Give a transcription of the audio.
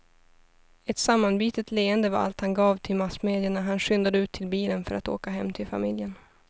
Ett sammanbitet leende var allt han gav till massmedia när han skyndade ut till bilen för att åka hem till familjen.